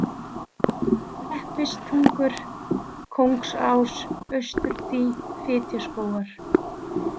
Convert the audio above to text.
Leppistungur, Kóngsás, Austurdý, Fitjaskógar